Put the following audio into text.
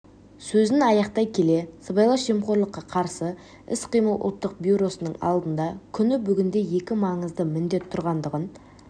сөзін аяқтай келе сыбайлас жемқорлыққа қарсы іс-қимыл ұлттық бюросының алдында күні бүгінде екі маңызды міндет тұрғандығын